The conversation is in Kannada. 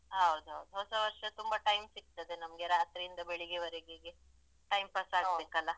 ಹೌದು ಹೊಸವರ್ಷ ತುಂಬ time ಸಿಗ್ತದೆ ನಮ್ಗೆ ರಾತ್ರಿಯಿಂದ ಬೆಳಿಗೆವರೆಗೆಗೆ time pass ಆಗ್ಬೇಕಲ.